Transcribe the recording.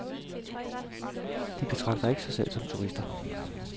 De betragter ikke sig selv som turister.